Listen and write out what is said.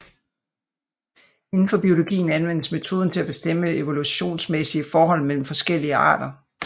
Inden for biologien anvendes metoden til at bestemme evolutionsmæssige forhold mellem forskellige arter